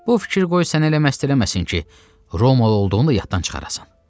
Bu fikir qoy sənə elə məşğul eləməsin ki, Roma olduğunu da yaddan çıxarasan.